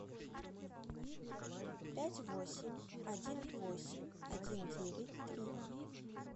пять восемь один восемь один девять три